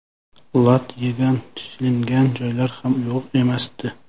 Lat yegan, shilingan joylari ham yo‘q emasdi.